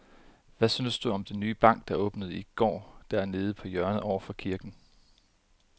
Hvad synes du om den nye bank, der åbnede i går dernede på hjørnet over for kirken?